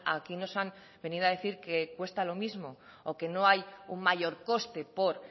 aquí nos han venido a decir que cuesta lo mismo o que no hay un mayor coste por